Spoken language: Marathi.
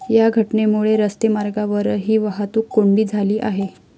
या घटनेमुळे रस्ते मार्गावरही वाहतूक कोंडी झाली आहे.